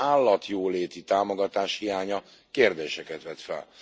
állatjóléti támogatás hiánya kérdéseket vet fel.